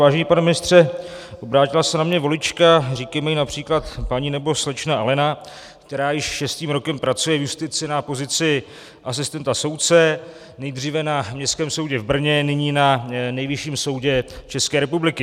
Vážený pane ministře, obrátila se na mě volička, říkejme jí například paní nebo slečna Alena, která již šestým rokem pracuje v justici na pozici asistenta soudce, nejdříve na Městském soudě v Brně, nyní na Nejvyšším soudě České republiky.